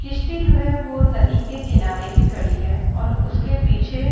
कश्ती जो है वो नदी के किनारे खड़ी है और उसके पीछे --